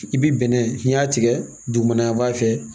I bi bɛnɛ n'i y'a tigɛ dugumana fɛ